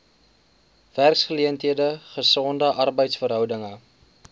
werksgeleenthede gesonde arbeidsverhoudinge